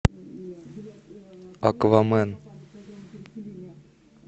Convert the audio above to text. аквамен